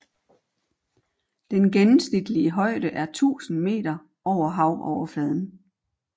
Den gennemsnitlige højde er 1000 meter over havoverfladen